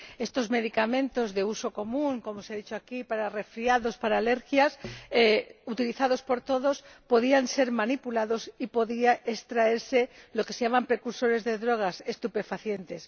Estos medicamentos de uso común —como se ha dicho aquí— para resfriados y para alergias, utilizados por todos, podían ser manipulados y de ellos podían extraerse los denominados precursores de drogas, estupefacientes.